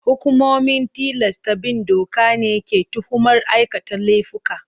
Hukumomin tilasta bin doka ne ke tuhumar aikata laifuka.